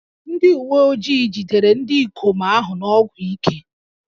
Ndị uwe ojii jidere ndị ikom ahụ na ọgwụ ike